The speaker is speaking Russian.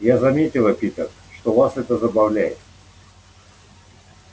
я заметила питер что вас это забавляет